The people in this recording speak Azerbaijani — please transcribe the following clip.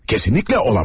Kesinlikle olamaz.